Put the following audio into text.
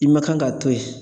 I ma kan ka to yen.